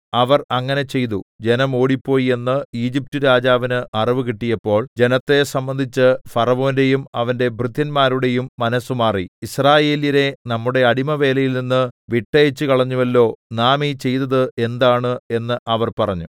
അവർ അങ്ങനെ ചെയ്തു ജനം ഓടിപ്പോയി എന്ന് ഈജിപ്റ്റുരാജാവിന് അറിവ് കിട്ടിയപ്പോൾ ജനത്തെ സംബന്ധിച്ച് ഫറവോന്റെയും അവന്റെ ഭൃത്യന്മാരുടെയും മനസ്സുമാറി യിസ്രായേല്യരെ നമ്മുടെ അടിമവേലയിൽനിന്ന് വിട്ടയച്ചുകളഞ്ഞുവല്ലോ നാം ഈ ചെയ്തത് എന്താണ് എന്ന് അവർ പറഞ്ഞു